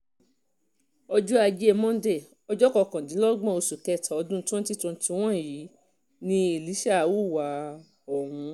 ọjọ́ ajé monde ọjọ́ kọkàndínlọ́gbọ̀n oṣù kẹta ọdún twenty twenty one yìí ni elisha hùwà ọ̀hún